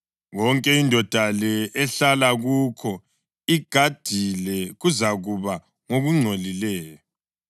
Konke indoda le ehlala kukho igadile kuzakuba ngokungcolileyo,